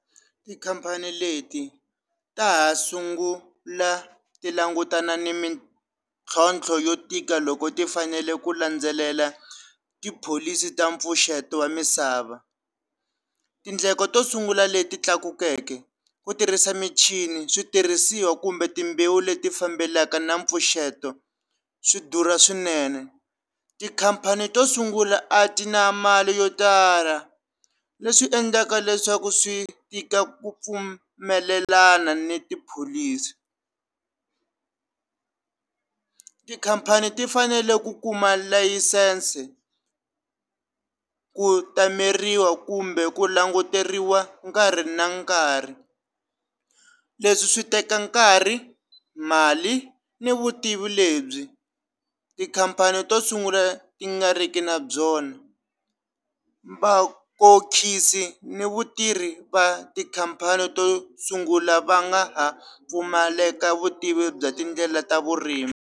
Tikhampani leti ta ha sungula tilangutana ni mitlhontlho yo tika loko ti fanele ku landzelela tipholisi ta mpfuxeto wa misava tindleko to sungula leti tlakukeke ku tirhisa michini switirhisiwa kumbe timbewu leti fambelanaka na mpfuxeto swi durha swinene tikhampani to sungula a ti na mali yo tala leswi endlaka leswaku swi tika ku pfumelelana ni tipholisi tikhampani ti fanele ku kuma layisense ku tameriwa kumbe ku languteriwa nkarhi na nkarhi leswi swi teka nkarhi mali ni vutivi lebyi tikhampani to sungula ti nga riki na byona vakokhisi ni vatirhi va tikhampani to sungula va nga ha pfumaleka vutivi bya tindlela ta vurimi.